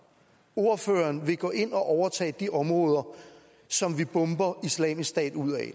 ordføreren vil gå ind at overtage de områder som vi bomber islamisk stat ud af